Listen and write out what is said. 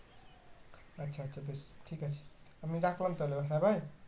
আচ্ছা আচ্ছা বেশ ঠিক আছে আমি রাখলাম তাহলে হ্যাঁ ভাই